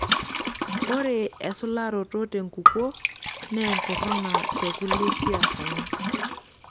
Ore esularoto tenkukuo naa enkuruna tekulie siasani.